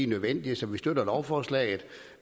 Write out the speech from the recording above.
nødvendige så vi støtter lovforslaget